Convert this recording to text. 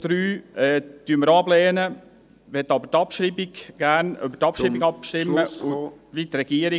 Den Punkt 3 lehnen wir auch ab, würden aber gerne über die Abschreibung abstimmen …… wie die Regierung.